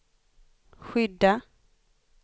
skydda